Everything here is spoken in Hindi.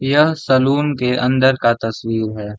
यह सैलून के अंदर का तस्वीर है।